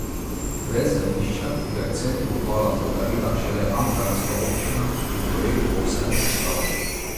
Brez zemljišča, ki ga je Centru Obala podarila šele ankaranska občina, bi projekt povsem obstal.